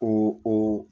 O o